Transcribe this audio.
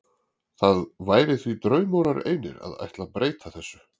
Það væri því draumórar einir að ætla að breyta þessu.